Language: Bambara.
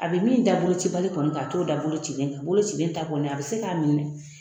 A bɛ min da bolocibali kɔni kan a t'o da bolocilen kan bolocilen ta kɔni a bɛ se k'a minɛ